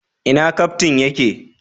Ina Kaftin ya ke?